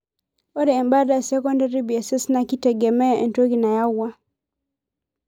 Ore embata e secondary BSS naa keitegemea entoki nayawua.